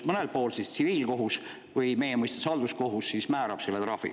Mõnel pool määrab selle trahvi tsiviilkohus või meie mõistes halduskohus.